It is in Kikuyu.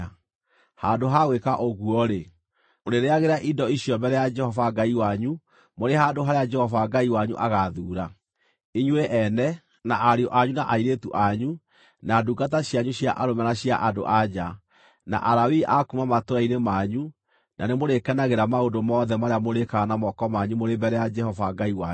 Handũ ha gwĩka ũguo-rĩ, mũrĩrĩĩagĩra indo icio mbere ya Jehova Ngai wanyu mũrĩ handũ harĩa Jehova Ngai wanyu agaathuura, inyuĩ ene, na ariũ anyu na airĩtu anyu, na ndungata cianyu cia arũme na cia andũ-a-nja, na Alawii a kuuma matũũra-inĩ manyu, na nĩmũrĩkenagĩra maũndũ mothe marĩa mũrĩĩkaga na moko manyu mũrĩ mbere ya Jehova Ngai wanyu.